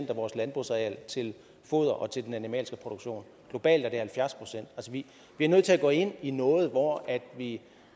af vores landbrugsareal til foder og til den animalske produktion globalt er det halvfjerds procent vi er nødt til at gå ind i noget hvor vi